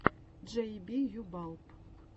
джей би ю балб